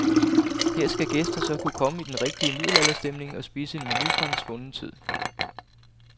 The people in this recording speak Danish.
Her skal gæster så kunne komme i den rigtige middelalderstemning og spise en menu fra en svunden tid.